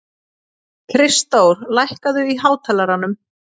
Kristdór, lækkaðu í hátalaranum.